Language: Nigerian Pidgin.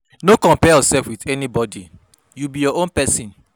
No compare yourself wit anybodi, you be your own pesin.